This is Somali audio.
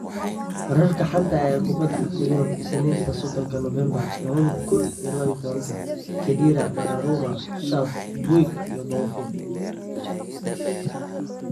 Wararka xanta ah ee kubada cagta Yurub isninta sodonka Novembaar laba kuun iyo labatanka: Khedira, Donnarumma, Schuurs, Puig, Thauvin